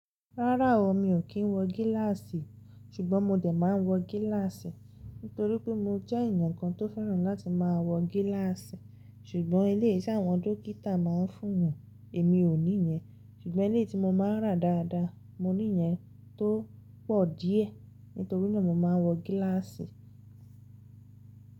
Rárá o, mi ò kí ń wọ gíláàsì. Ṣùgbọ́n mo dè máa ń wọ gíláàsì. Nítorí pé mo jẹ́ èèyàn kan tó fẹ́ràn láti máa wọ gíláàsì. Ṣùgbọ́n ilé iṣẹ́ àwọn dókítà máa ń fún eyan, èmi ò ní yẹn. Ṣùgbọ́n eléyi tí mo máa ń rà dáadáa, mo ní yẹn tó pọ̀ díẹ̀ nítorí náà mo máa ń wọ gíláàsì.